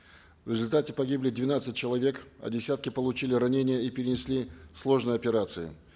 в результате погибли двенадцать человек а десятки получили ранения и перенесли сложные операции